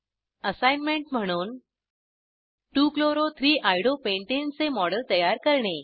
assignment म्हणून 2 chloro 3 iodo pentane चे model तयार करणे